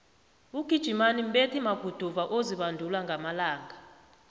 ugijimani mbethi maguduva ozibandula ngamalanga